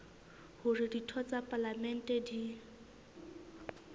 hore ditho tsa palamente di